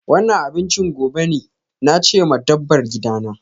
Wannan abinchin gobe ne, na ce ma dabbar gidana.